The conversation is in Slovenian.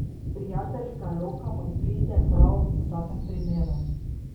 Prijateljska roka pa pride prav v vsakem primeru.